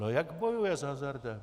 No jak bojuje s hazardem?